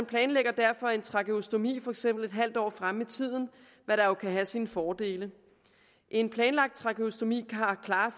planlægges derfor trakeostomi for eksempel en halv år fremme i tiden hvad der jo kan have sine fordele en planlagt trakeostomi har klare